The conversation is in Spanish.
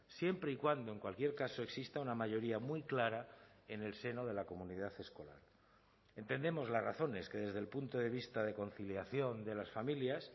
siempre y cuando en cualquier caso exista una mayoría muy clara en el seno de la comunidad escolar entendemos las razones que desde el punto de vista de conciliación de las familias